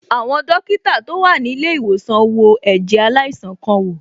Àwọn dókítà tó wà ní ilé ìwòsàn wo ẹ̀jẹ̀ aláìsàn kan wò.